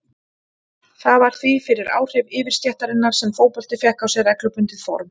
Það var því fyrir áhrif yfirstéttarinnar sem fótbolti fékk á sig reglubundið form.